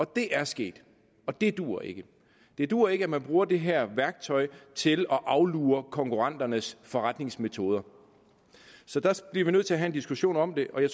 det er sket og det duer ikke det duer ikke at man bruger det her værktøj til at aflure konkurrenternes forretningsmetoder så der bliver vi nødt til at have en diskussion om det